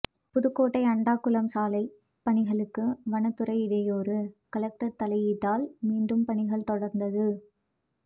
புதுக்கோட்டை அண்டக்குளம் சாலை பணிகளுக்கு வனத்துறை இடையூறு கலெக்டர் தலையீட்டால் மீண்டும் பணிகள் தொடர்ந்தது